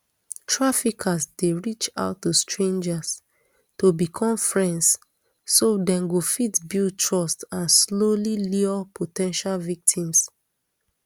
traffickers dey reach out to strangers to become friends so dem go fit build trust and slowly lure po ten tial victims